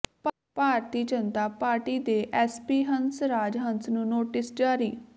ਭਾਰਤੀ Janata party ਦੇ MP Hans Raj Hans ਨੂੰ notice ਜਾਰੀ